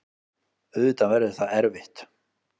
Auðvitað verður það erfitt.